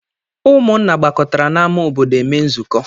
Ụmụnna gbakọtara n'ámá obodo eme nzukọ.